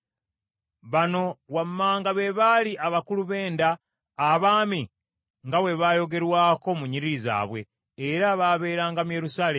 Bano wammanga be baali abakulu b’enda, abaami, nga bwe bayogerwako mu nnyiriri zaabwe, era baabeeranga mu Yerusaalemi.